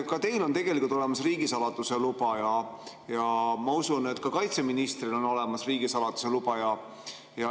Ka teil on olemas riigisaladuse luba ja ma usun, et ka kaitseministril on olemas riigisaladuse luba.